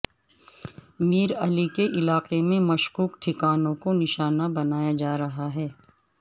میر علی کے علاقے میں مشکوک ٹھکانوں کو نشانہ بنایا جا رہا ہے